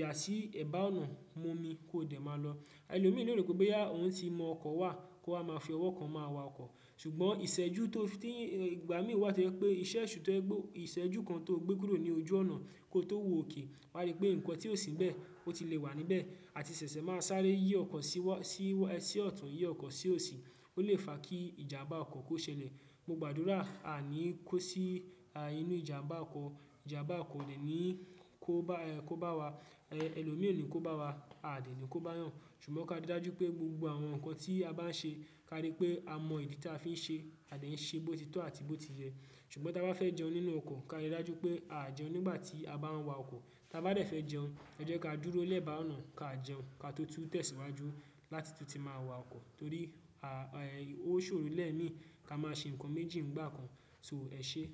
yà sí ẹ̀bá ọ̀nà, mu omi kó dẹ̀ máa lọ. Ẹlọ mí lé rò pé ohùn tí mọ ọkọ wà kó wa máa fi ọwọ kan máa wa ọkọ. Ṣùgbọ́n ìṣẹ́jú tó fí n- ti- ìgbà mí wá to jẹ̀ pé iṣẹ esu to jẹ pe ìṣẹ́jú kan tó gbé kúrò ní ojú ọ̀nà kó tó wo ókè, wá rí pé nǹkan tí ó sìnbẹ̀ ó ti lè wà níbẹ̀ àti ṣẹ̀ṣẹ̀ máa sáré yí ọkọ̀ síwọ́, sí ọ̀tún yí ọkọ̀ sí òsì, ó lè fa kí ìjàmbá ọkọ̀ kó ṣẹlẹ̀. Mo gbàdúrà a ni kó sí inú ìjàmbá ọkọ̀, ìjàmbá ọkọ̀ kò dẹ̀ ni kó bá wa, ẹlòmí o ni kó bá wa, a o dẹ̀ ni kó bá yàn. Ṣùgbọ́n ká rí i dájú pé gbogbo àwọn nǹkan tí a bá ń ṣe ká rí pé a mọ ìdí tí a fi ń ṣe, a dẹ̀ ń ṣe bó ti tọ́ àti bó ti yẹ. Ṣùgbọ́n tá ba fẹ́ jẹun nínú ọkọ̀, ká rí i dájú pé àá jẹun nígbà tí a bá ń wa ọkọ̀. Tabá dẹ̀ fẹ́ jẹun, ẹ jẹ́ ká dúró lẹ́ẹ̀bá ọ̀nà ká jẹun ká tó tú tẹ̀síwájú láti tun ti máa wa ọkọ̀ torí ó ṣòro lẹ́ẹ̀ mìí ká máa ṣe nǹkan méjì ńgbà kan, ṣó ẹ ṣé?